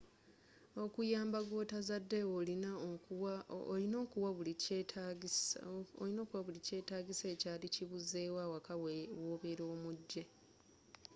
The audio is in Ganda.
okuyamba gwotazadde olina okuwa bu kyetaagisa ekyaali kibuzeewo awaka wobeela omujje